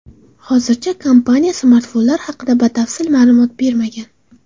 Hozircha kompaniya smartfonlar haqida batafsil ma’lumot bermagan.